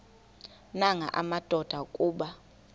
nanga madoda kuba